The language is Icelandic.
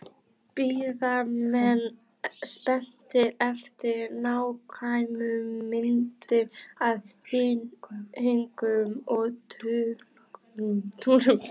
Bíða menn spenntir eftir nákvæmum myndum af hringum og tunglum